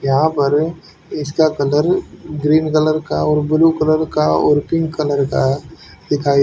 यहां पर इसका कलर ग्रीन कलर का और ब्ल्यू कलर का और पिंक कलर का है दिखाई --